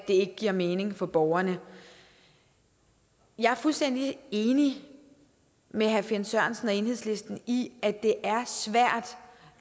ikke giver mening for borgerne jeg er fuldstændig enig med herre finn sørensen og enhedslisten i at det er svært